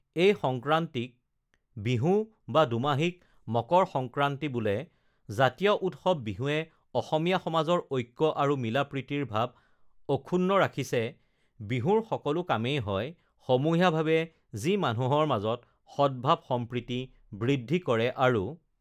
এই সংক্ৰান্তিক বিহু বা দুমাহীক মকৰ সংক্ৰান্তি বোলে জাতীয় উৎসৱ বিহুৱে অসমীয়া সমাজৰ ঐক্য আৰু মিলা-প্ৰীতিৰ ভাৱ অক্ষুন্ন ৰাখিছে বিহুৰ সকলো কামেই হয় সমূহীয়াভাৱে যি মানুহৰ মাজত সৎভাৱ সম্প্ৰীতি বৃদ্ধি কৰে আৰু